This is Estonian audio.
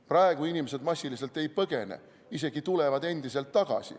Praegu inimesed massiliselt ei põgene, isegi tulevad endiselt tagasi.